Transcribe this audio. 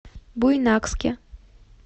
буйнакске